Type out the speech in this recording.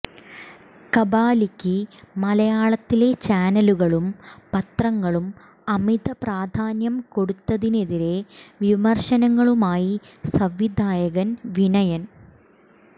കബാലിക്ക് മലയാളത്തിലെ ചാനലുകളും പത്രങ്ങളും അമിത പ്രധാന്യം കൊടുത്തതിനെതിരെ വിമർശനങ്ങളുമായി സംവിധായകൻ വിനയൻ